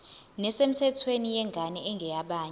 nesemthethweni yengane engeyabanye